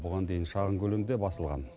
бұған дейін шағын көлемде басылған